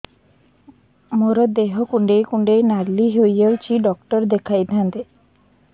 ମୋର ଦେହ କୁଣ୍ଡେଇ କୁଣ୍ଡେଇ ନାଲି ହୋଇଯାଉଛି ଡକ୍ଟର ଦେଖାଇ ଥାଆନ୍ତି